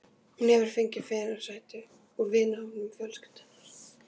Hún hefur fengið fyrirsætur úr vinahópi fjölskyldunnar.